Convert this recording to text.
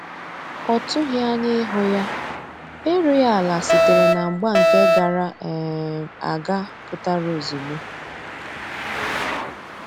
Ọ tughi anya ihu ya, erughi ala sitere na mgba nke gara um aga pụtara ozugbo